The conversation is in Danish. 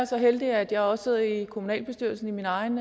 så heldig at jeg også sidder i kommunalbestyrelsen i min egen